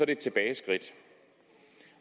et tilbageskridt